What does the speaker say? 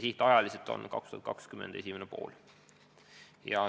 Tähtaeg on 2020. aasta esimene pool.